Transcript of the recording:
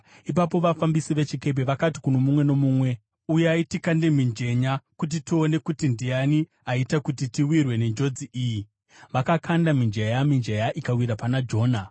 Ipapo vafambisi vechikepe vakati kuno mumwe nomumwe, “Uyai, tikande mijenya kuti tione kuti ndiani aita kuti tiwirwe nenjodzi iyi.” Vakakanda mijenya, mijenya ikawira pana Jona.